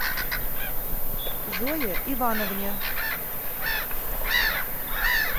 зое ивановне